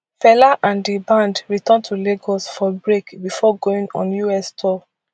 fela and di band return to lagos for break bifor going on us tour